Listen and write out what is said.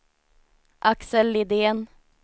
Axel Lidén